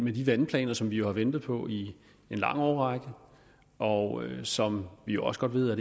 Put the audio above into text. i de vandplaner som vi har ventet på i en lang årrække og som vi også godt ved at